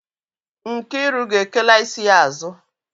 Nkiru ga-ekela isi ya azu.